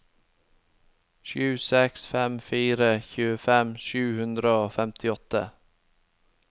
sju seks fem fire tjuefem sju hundre og femtiåtte